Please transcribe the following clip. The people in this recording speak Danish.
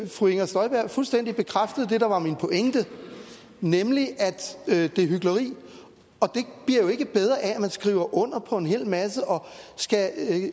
fru inger støjberg fuldstændig bekræftede det der var min pointe nemlig at det er hykleri og det bliver jo ikke bedre af at man skriver under på en hel masse og skal